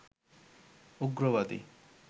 উগ্রবাদী